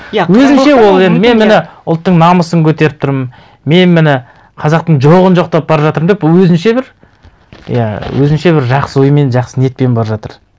өзінше ол енді мен міне ұлттың намысын көтеріп тұрмын мен міне қазақтың жоғын жоқтап бара жатырмын деп өзінше бір иә өзінше бір жақсы оймен жақсы ниетпен бара жатыр